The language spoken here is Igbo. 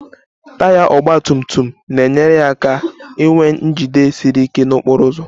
Taya ọgba tum tum na-enyere ya aka inwe njide siri ike n'okporo ụzọ